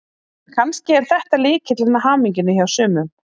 Kannski er þetta lykillinn að hamingjunni hjá sumum.